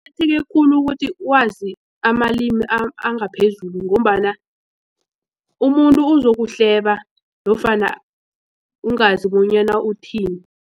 Kuqakatheke khulu ukuthi wazi amalimi angaphezulu ngombana umuntu uzokuhleba nofana ungazi bonyana uthini.